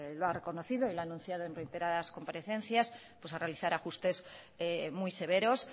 lo ha reconocido y lo ha anunciado en reiteradas comparecencias pues a realizar ajustes muy severos